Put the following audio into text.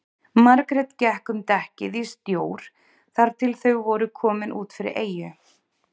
Margrét gekk um dekkið í stjór þar til þau voru komin út fyrir eyju.